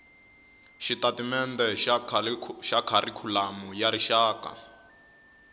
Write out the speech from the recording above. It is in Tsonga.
xitatimende xa kharikhulamu ya rixaka